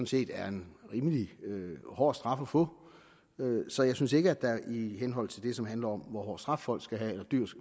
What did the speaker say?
set er en rimelig hård straf at få så jeg synes ikke der i henhold til det som handler om hvor hård straf folk skal have